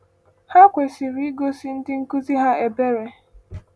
Ha kwesịrị igosi ndị nkuzi ha ebere.